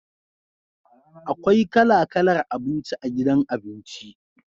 Akwai kala kalar abinci a gidan abinci.